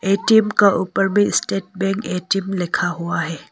ATM का ऊपर भी स्टेट बैंक ए_टी_एम लिखा हुआ है।